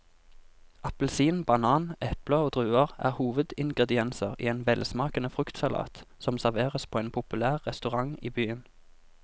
Appelsin, banan, eple og druer er hovedingredienser i en velsmakende fruktsalat som serveres på en populær restaurant i byen.